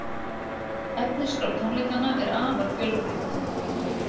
Efnisskrá tónleikanna er afar fjölbreytt